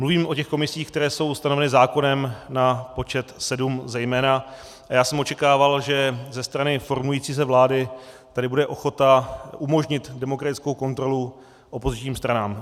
Mluvím o těch komisích, které jsou ustanoveny zákonem na počet sedm zejména, a já jsem očekával, že ze strany formující se vlády tady bude ochota umožnit demokratickou kontrolu opozičním stranám.